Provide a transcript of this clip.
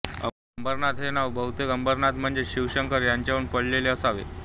अंबरनाथ हे नाव बहुतेक अमरनाथ म्हणजेच शिवशंकर यावरुन पडले असावे